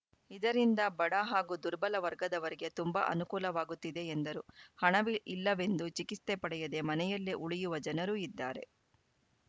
ಇದರಿಂದ ಬಡ ಹಾಗೂ ದುರ್ಬಲ ವರ್ಗದವರಿಗೆ ತುಂಬಾ ಅನುಕೂಲವಾಗುತ್ತಿದೆ ಎಂದರು ಹಣವ್ ಇಲ್ಲವೆಂದು ಚಿಕಿತ್ಸೆ ಪಡೆಯದೆ ಮನೆಯಲ್ಲೆ ಉಳಿಯುವ ಜನರೂ ಇದ್ದಾರೆ